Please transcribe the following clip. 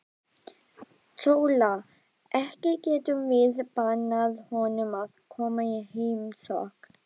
SÓLA: Ekki getum við bannað honum að koma í heimsókn.